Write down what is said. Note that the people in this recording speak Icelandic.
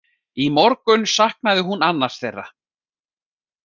Í morgun saknaði hún annars þeirra.